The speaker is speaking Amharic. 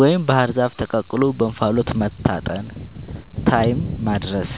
ወይም ባህር ዛፍ ተቀቅሎ በእንፋሎት መታጠንን (ታይም ማድረስ)